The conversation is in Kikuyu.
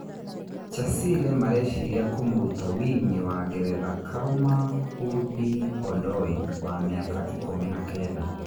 Chasile mareciria kũmũruta wing'i wa Ngeretha Karũma Hundi-Ondoi wa mĩaka ikũmi na kenda.